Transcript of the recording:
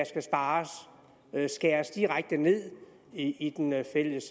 skal spares skæres direkte ned i den fælles